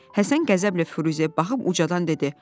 Həsən qəzəblə Firuzəyə baxıb ucadan dedi: